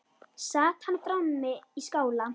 Sat hann frammi í skála.